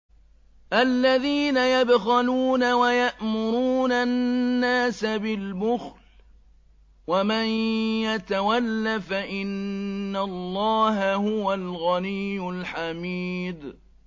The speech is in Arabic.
الَّذِينَ يَبْخَلُونَ وَيَأْمُرُونَ النَّاسَ بِالْبُخْلِ ۗ وَمَن يَتَوَلَّ فَإِنَّ اللَّهَ هُوَ الْغَنِيُّ الْحَمِيدُ